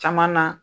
Caman na